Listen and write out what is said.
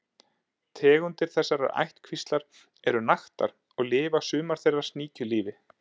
Tegundir þessarar ættkvíslar eru naktar og lifa sumar þeirra sníkjulífi.